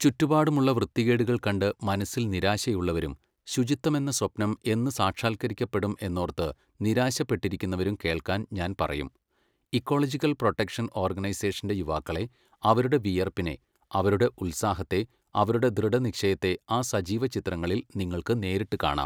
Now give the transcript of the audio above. ചുറ്റുപാടുമുള്ള വൃത്തികേടുകൾ കണ്ട് മനസ്സിൽ നിരാശയുള്ളവരും, ശുചിത്വമെന്ന സ്വപ്നം എന്നു സാക്ഷാത്കരിക്കപ്പെടും എന്നോർത്ത് നിരാശപ്പെട്ടിരുകുന്നവരും കേൾക്കാൻ ഞാൻ പറയും, ഇക്കോളജിക്കൽ പ്രൊട്ടക്ഷൻ ഓർഗനൈസേഷൻ്റെ യുവാക്കളെ, അവരുടെ വിയർപ്പിനെ, അവരുടെ ഉത്സാഹത്തെ, അവരുടെ ദൃഢനിശ്ചയത്തെ ആ സജീവ ചിത്രങ്ങളിൽ നിങ്ങൾക്ക് നേരിട്ട് കാണാം.